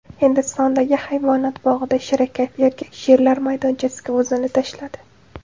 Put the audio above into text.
Hindistondagi hayvonot bog‘ida shirakayf erkak sherlar maydonchasiga o‘zini tashladi .